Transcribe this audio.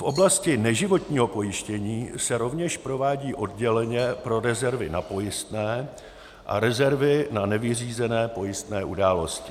V oblasti neživotního pojištění se rovněž provádí odděleně pro rezervy na pojistné a rezervy na nevyřízené pojistné události.